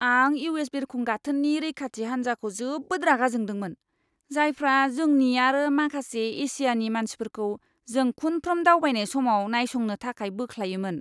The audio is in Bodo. आं इउ.एस. बिरखं गाथोननि रैखाथि हान्जाखौ जोबोद रागा जोंदोंमोन, जायफ्रा जोंनि आरो माखासे एसियानि मानसिफोरखौ जों खुनफ्रोम दावबायनाय समाव नायसंनो थाखाय बोख्लायोमोन!